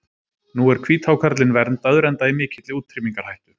Nú er hvíthákarlinn verndaður enda í mikilli útrýmingarhættu.